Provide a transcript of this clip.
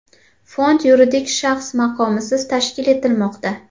Fond yuridik shaxs maqomisiz tashkil etilmoqda.